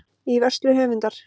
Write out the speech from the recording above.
Í vörslu höfundar.